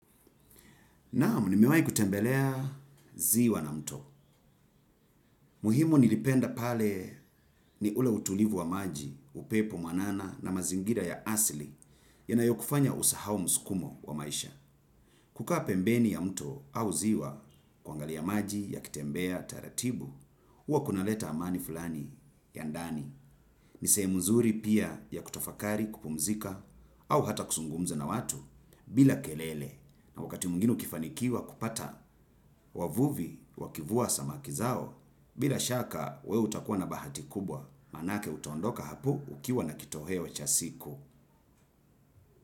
Naam nimewahi kutembelea ziwa na mto. Muhimu nilipenda pale ni ule utulivu wa maji upepo mwanana na mazingira ya asili yanayokufanya usahau msukumo wa maisha. Kukaa pembeni ya mto au ziwa kaangalia maji yakitembea taratibu, huwa kunaleta amani fulani ya ndani. Nisehemu nzuri pia ya kutafakari, kupumzika au hata kuzungumza na watu bila kelele na wakati mwingine ukifanikiwa kupata. Wavuvi wakivua samaki zao bila shaka wewe utakuwa na bahati kubwa maanake utaondoka hapo ukiwa na kitoweo cha siku.